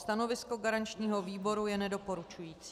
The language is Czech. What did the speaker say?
Stanovisko garančního výboru je nedoporučující.